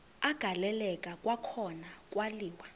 agaleleka kwakhona kwaliwa